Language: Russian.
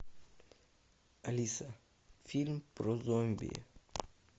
алиса фильм про зомби